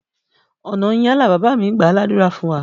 Ọ̀nà yín á là! Bàbá mí gbàá ládùrá fún wa.